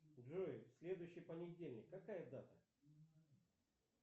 джой следующий понедельник какая дата